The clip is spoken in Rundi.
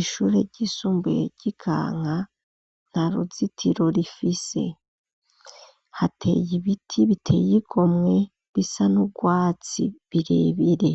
Ishure ryisumbuye ry'Ikanka, nta ruzitiro rifise. Hateye ibiti biteye igomwe bisa n'urwatsi birebire